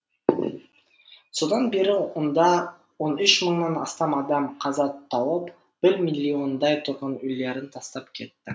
содан бері онда он үш мыңнан астам адам қаза тауып бір миллиондай тұрғын үйлерін тастап кетті